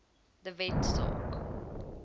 de wet saak